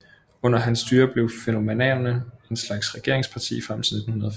Under hans styre blev fennomanerne en slags regeringsparti frem til 1905